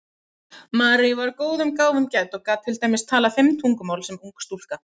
Marie var góðum gáfum gædd og gat til dæmis talað fimm tungumál sem ung stúlka.